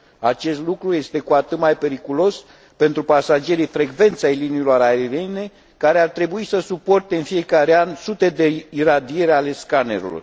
Acest lucru este cu atât mai periculos pentru pasagerii frecvenți ai liniilor aeriene, care ar trebui să suporte în fiecare an sute de iradieri ale scanerelor.